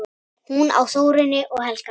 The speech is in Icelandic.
Hún á Þórunni og Helga.